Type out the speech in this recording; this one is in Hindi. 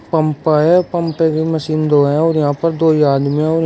पंप है। पंप पे भी मशीन दो हैं और यहां पर दो ही आदमी हैं और --